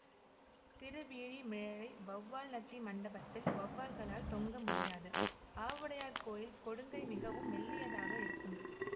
திருவீழிமிழலை வௌவால்நத்தி மண்டபத்தில் வௌவால்களால் தொங்க முடியாது ஆவுடையார்கோயில் கொடுங்கை மிகவும் மெல்லியதாக இருக்கும்